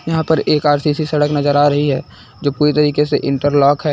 यहां पर एक आर_सी_सी सड़क नजर आ रही है जो पूरी तरीके से इंटरलॉक है।